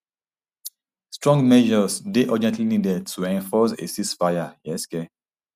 strong measures dey urgently needed to enforce a ceasefire um